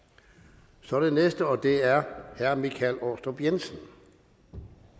så er det den næste og det er herre michael aastrup jensen